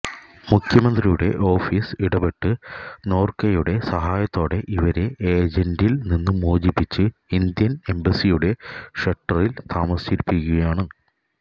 മുഖ്യമന്ത്രിയുടെ ഓഫിസ് ഇടപ്പെട്ട് നോര്ക്കയുടെ സഹായത്തോടെ ഇവരെ ഏജന്റില് നിന്ന് മോചിപ്പിച്ച് ഇന്ത്യന് എംബസിയുടെ ഷെല്ട്ടറില് താമസിപ്പിച്ചിരിക്കുകയാണ്